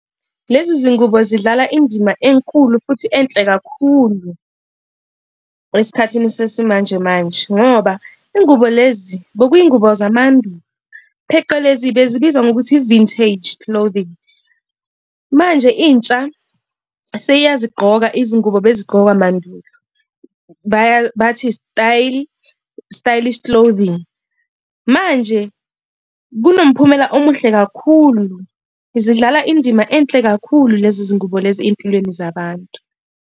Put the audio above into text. Lezi zingubo zidlala indima enkulu futhi enhle kakhulu esikhathini sesimanjemanje ngoba ingubo lezi bekuyizingubo zamandulo pheqelezi bezibizwa ngokuthi i-vintage clothing. Manje intsha seyazigqoka izingubo bezigqokwa mandulo bathi i-stylish clothing. Manje kunomphumela omuhle kakhulu zidlala indima enhle kakhulu, lezi zingubo lezi ey'mpilweni zabantu.